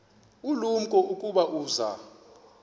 ulumko ukuba uza